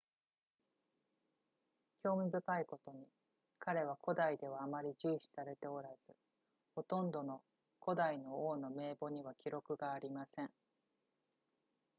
興味深いことに彼は古代ではあまり重視されておらずほとんどの古代の王の名簿には記録がありません